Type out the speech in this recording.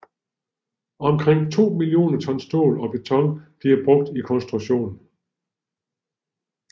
Omkring 2 millioner tons stål og beton blev brugt i konstruktionen